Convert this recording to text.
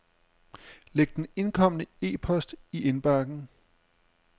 Læg den indkomne e-post i indbakken.